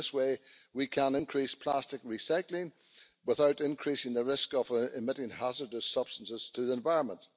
In that way we can increase plastic recycling without increasing the risk of emitting hazardous substances into the environment.